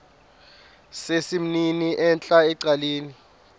sesimnini entla ecaleni